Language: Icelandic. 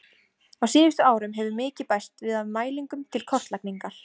Á síðustu árum hefur mikið bæst við af mælingum til kortlagningar.